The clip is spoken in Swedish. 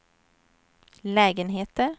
lägenheter